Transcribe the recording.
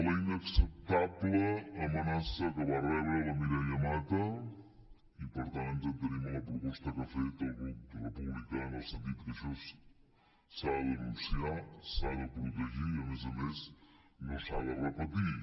la inacceptable amenaça que va rebre la mireia mata i per tant ens adherim a la proposta que ha fet el grup republicà en el sentit que això s’ha de denunciar s’ha de protegir i a més a més no s’ha de repetir